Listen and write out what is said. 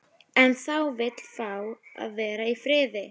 En það vill fá að vera í friði.